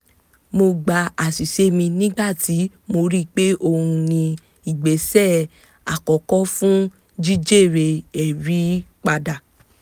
mo gba àṣìṣe mi nígbà tí mo rí i pé ohun ni ìgbésẹ̀ àkọ́kọ́ fún jí jèrè ẹ̀rí padà